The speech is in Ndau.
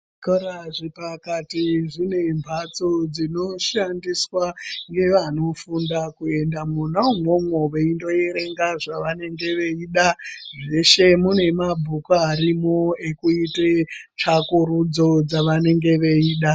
Zvikora zvepakati zvine mbatso dzinoshandiswa ngevanofunda kuendamona umwomwo veindoerenga zvavanenge veida zveshe mune mabhuku arimwo ekuite tsvakurudzo dzavanenge veida.